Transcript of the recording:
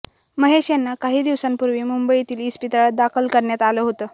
महेश यांना काही दिवसांपूर्वी मुंबईतील इस्पितळात दाखल करण्यात आलं होतं